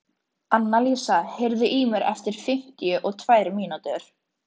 Annalísa, heyrðu í mér eftir fimmtíu og tvær mínútur.